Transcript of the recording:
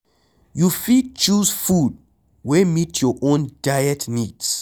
You fit choose food wey meet your own diet needs